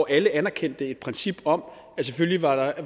alle anerkendte et princip om at selvfølgelig var